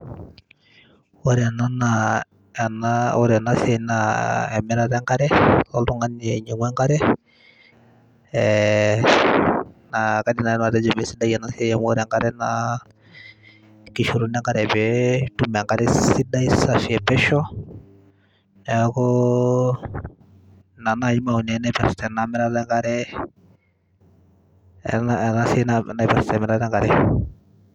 ore ena naa ena ore enasiai naa emirata enkare oltung'ani ainyiang'u enkare eh, naa kaidim naaji nanu atejo mesidai ena siai amu ore enkare naa kishoruno enkare peetum enkare sidai safi epesho neeku ina naaji maoni ai naipirrta enamirata enkareenasiai naipirrta emirata enkare.